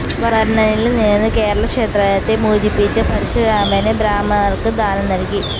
വരുണനില് നിന്ന് കേരള ക്ഷേത്രത്തെ മോചിപ്പിച്ച് പരശുരാമന് ബ്രാഹ്മണര്ക്ക് ദാനം നല്കി